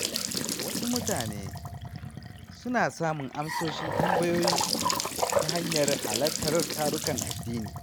Wasu mutane suna samun amsoshin tambayoyinsu ta hanyar halartar tarukan addini.